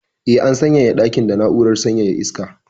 Eh, an sanyaya dakin da na'urar sanyaya iska.